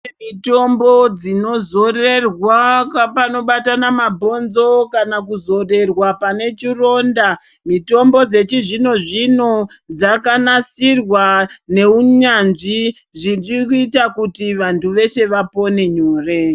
Kune mitombo dzino zorerwa pano batana mabhonzo kana kuzorerwa pane chironda mitombo dzechi zvino zvino dzaka nasirwa ne unyanzvi zvichiri kuita kuti vantu veshe vapone nyore.